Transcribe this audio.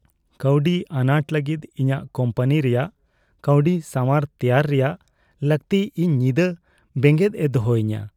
ᱠᱟᱹᱣᱰᱤ ᱟᱱᱟᱴ ᱞᱟᱹᱜᱤᱫ ᱤᱧᱟᱹᱜ ᱠᱚᱢᱯᱟᱱᱤ ᱨᱮᱭᱟᱜ ᱠᱟᱹᱣᱰᱤ ᱥᱟᱣᱟᱨ ᱛᱮᱭᱟᱨ ᱨᱮᱭᱟᱜ ᱞᱟᱹᱠᱛᱤ ᱤᱧ ᱧᱤᱫᱟᱹ ᱵᱮᱸᱜᱮᱫ ᱮ ᱫᱚᱦᱚᱭᱤᱧᱟᱹ ᱾